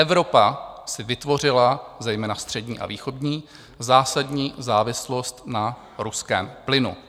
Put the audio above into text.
Evropa si vytvořila, zejména střední a východní, zásadní závislost na ruském plynu.